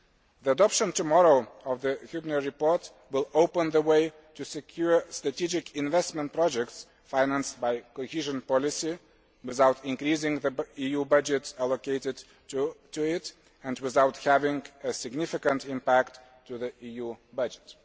The adoption tomorrow of the Hübner report will open the way to securing strategic investment projects financed by cohesion policy without increasing the EU budget allocated to it and without having a significant impact on the EU budget.